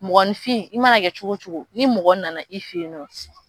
Mɔgɔninfin i mana kɛ cogo o cogo ni mɔgɔ nana i fɛ yen